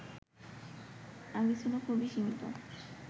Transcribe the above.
আগে ছিল খুবই সীমিত